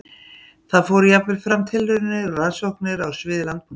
Þar fóru jafnvel fram tilraunir og rannsóknir á sviði landbúnaðar.